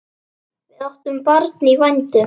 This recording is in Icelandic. Við áttum barn í vændum.